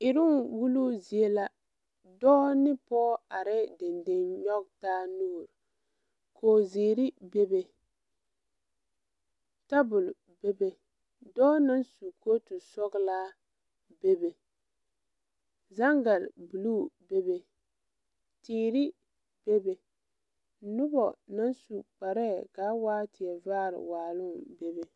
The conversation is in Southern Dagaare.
Eroŋ wuluu zie la dɔɔ ne pɔɔ arɛɛ deŋ deŋ nyoge taa nuure koge zeere bebe tabol bebe dɔɔ naŋ su kootu sɔglaa bebe zaŋgare bluu bebe teere bebe nobɔ naŋ su kparɛɛ kaa waa vaare waaloŋ bebe.